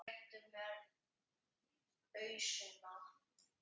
Réttu mér ausuna!